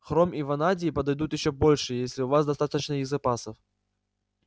хром и ванадий подойдут ещё больше если у вас достаточно их запасов